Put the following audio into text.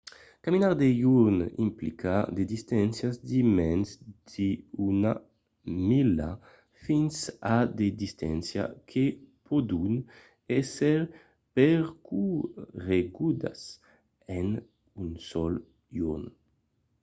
caminar de jorn implica de distàncias de mens d'una mila fins a de distàncias que pòdon èsser percorregudas en un sol jorn